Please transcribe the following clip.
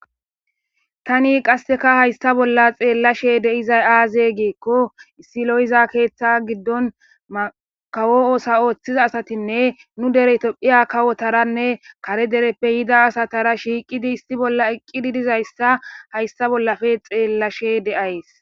tani qasseka haysta bolla xeellashe deizay aaze giekko issi lo7iza keeththa giddon makawo oosa ooththiza asatinne nu dere tophiya kawotaranne kare dereppe yida asatara shiiqidi issi bolla eqqidi dizayssa haysta bollafe xeellashe deays